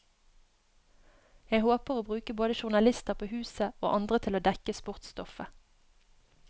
Jeg håper å bruke både journalister på huset, og andre til å dekke sportsstoffet.